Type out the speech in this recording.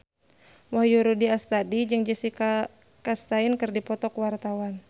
Wahyu Rudi Astadi jeung Jessica Chastain keur dipoto ku wartawan